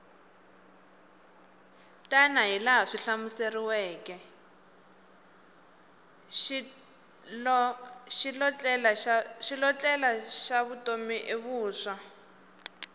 xilotlela xa vutomi i vuswa